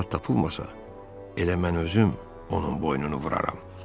ki onda tapılmasa, elə mən özüm onun boynunu vuraram.